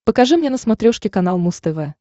покажи мне на смотрешке канал муз тв